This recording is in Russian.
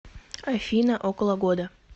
афина около года